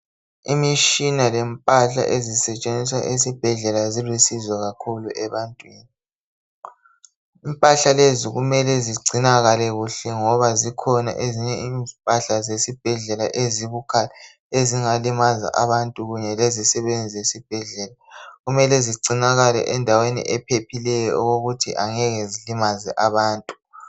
Imitshina lempahla ezisetshenziswa ezibhedlela zilusizo kakhulu ebantwini. Kumele zigcinwe kuhle ngoba zikhona ezinye impahla ezibukhali ezingalimaza abantu. Kumele zigcinakale endaweni ephephileyo ukuze zingalimazi abantu.